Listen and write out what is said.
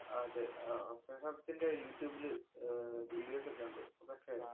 അതേ. അഹ് അദ്ദേഹത്തിന്‍റെ youtube ല് അഹ് videos ഒക്കെ ഒണ്ട്. അതൊക്കെ